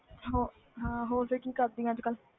ਹੋ~ ਹਾਂ ਹੋਰ ਫਿਰ ਕੀ ਕਰਦੀ ਆਂ ਅੱਜ ਕੱਲ੍ਹ।